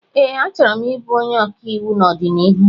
Ee, achọrọ m ịbụ onye ọkàiwụ n'ọdịnihu